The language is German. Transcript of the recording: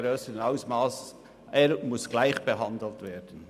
Der Gewerbetreibende muss gleich behandelt werden.